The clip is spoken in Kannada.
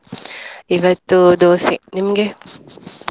ಇವತ್ತು Dosa , ನಿಮ್ಗೆ?